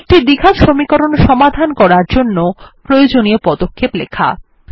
একটি দ্বিঘাত সমীকরণ সমাধান করার জন্য প্রয়োজনীয় পদক্ষেপ লেখা